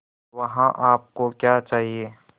वहाँ आप को क्या चाहिए